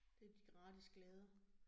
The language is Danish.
Det de gratis glæder